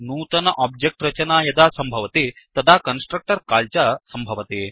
नूतन ओब्जेक्ट्रचना यदा सम्भवति तदा कन्स्ट्रक्टर् काल् च सम्भवति